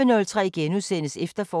Radio24syv